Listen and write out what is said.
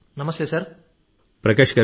నమస్కారాలు గౌరవనీయ ప్రధానమంత్రి గారూ